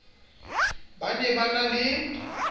ba ne ba na le